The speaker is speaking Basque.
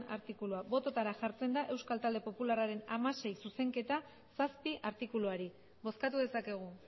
artikulua bototara jartzen da euskal talde popularraren hamasei zuzenketa zazpi artikuluari bozkatu dezakegu